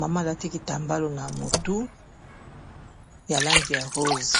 mama alati kitambalo na motu ya langi ya rose.